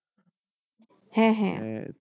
হ্যাঁ হ্যাঁ।